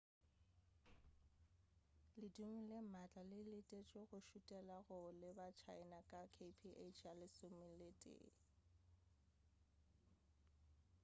ledimo le maatla le letetšwe go šutela go leba china ka kph ya lesometee